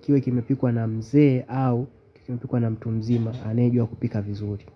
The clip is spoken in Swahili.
kiwe kimepikwa na mzee au kimepikwa na mtu mzima, anayejua kupika vizuri.